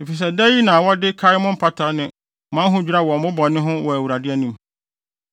efisɛ da yi na wɔde kae mo mpata ne mo ahodwira wɔ mo bɔne ho wɔ Awurade anim.